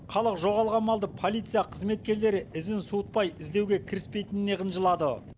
халық жоғалған малды полиция қызметкерлері ізін суытпай іздеуге кіріспейтініне қынжылады